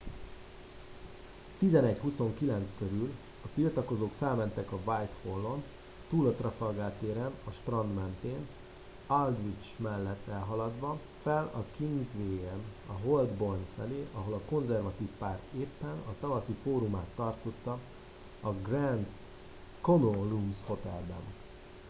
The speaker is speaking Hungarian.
11:29 körül a tiltakozók felmentek a whitehall on túl a trafalgar téren a strand mentén aldwych mellett elhaladva fel a kingsway en a holborn felé ahol a konzervatív párt éppen a tavaszi fórumát tartotta a grand connaught rooms hotelben